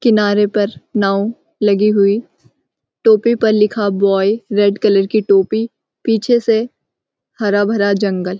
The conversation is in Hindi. किनारे पर नाव लगी हुई। टोपी पर लिखा बॉय रेड कलर की टोपी। पीछे से हरा भरा जंगल।